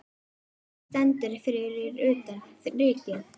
Eiki stendur fyrir utan Ríkið.